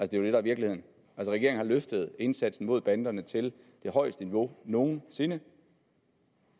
der er virkeligheden regeringen har løftet indsatsen mod banderne til det højeste niveau nogen sinde